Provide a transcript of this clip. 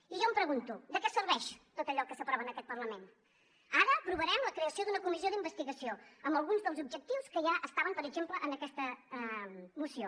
i jo em pregunto de què serveix tot allò que s’aprova en aquest parlament ara aprovarem la creació d’una comissió d’investigació amb alguns dels objectius que ja estaven per exemple en aquesta moció